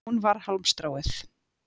Hún var hálmstráið.